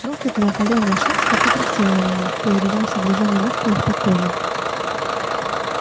короткая холеная шерсть так и блестела на ней переливаясь от движения мускулов под кожей